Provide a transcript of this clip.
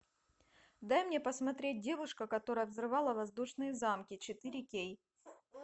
дай мне посмотреть девушка которая взрывала воздушные замки четыре кей